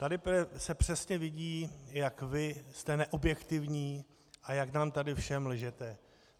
Tady se přesně vidí, jak vy jste neobjektivní a jak nám tady všem lžete.